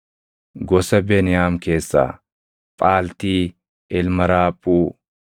gosa Beniyaam keessaa Phaaltii ilma Raaphuu;